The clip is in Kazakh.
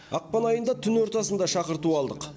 ақпан айында түн ортасында шақырту алдық